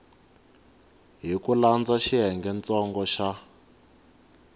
hi ku landza xiyengentsongo xa